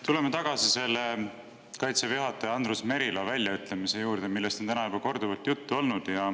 Tuleme tagasi Kaitseväe juhataja Andrus Merilo väljaütlemise juurde, millest on täna juba korduvalt juttu olnud.